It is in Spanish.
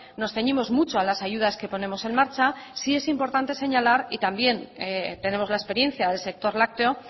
nos ceñimos mucho a las ayudas que ponemos en marcha sí es importante señalar y también tenemos la experiencia del sector lácteo